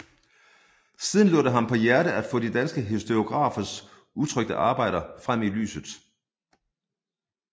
Siden lå det ham på hjerte at få de danske historiografers utrykte arbejder frem i lyset